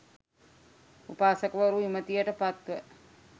උපාසකවරු, විමතියට පත්ව,